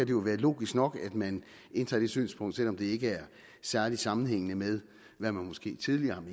jo være logisk nok at man indtager det synspunkt selv om det ikke er særlig sammenhængende med hvad man måske tidligere